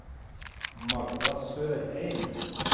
Magda Sørheim